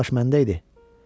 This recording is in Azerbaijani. Axı plaş məndə idi.